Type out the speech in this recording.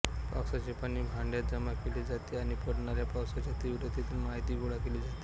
पावसाचे पाणी भांड्यात जमा केले जाते आणि पडणाऱ्या पावसाच्या तीव्रतेतून माहिती गोळा केली जाते